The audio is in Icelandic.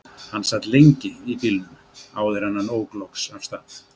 Hann sat lengi í bílnum áður en hann ók loksins af stað.